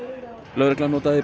lögreglan notaði